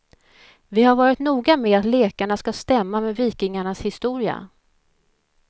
Vi har varit noga med att lekarna skall stämma med vikingarnas historia.